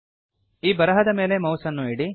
ಈ ಬರಹದ ಮೇಲೆ ಮೌಸ್ ಅನ್ನು ಇಡಿ